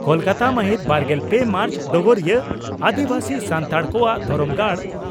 ᱠᱚᱞᱠᱟᱛᱟ ᱢᱟᱦᱤᱛ ᱵᱟᱨᱜᱮᱞ ᱯᱮ ᱢᱟᱨᱪ (ᱰᱚᱜᱚᱨᱤᱭᱟᱹ) ᱺ ᱟᱹᱫᱤᱵᱟᱹᱥᱤ ᱥᱟᱱᱛᱟᱲ ᱠᱚᱣᱟᱜ ᱫᱷᱚᱨᱚᱢ ᱜᱟᱲ